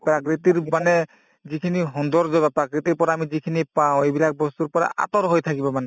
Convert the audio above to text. প্ৰাকৃতিৰ মানে যিখিনি সুন্দৰ জগত প্ৰাকৃতিৰ পৰা আমি যিখিনি পাওঁ এইবিলাক বস্তুৰ পৰা আতৰ হৈ থাকিব মানে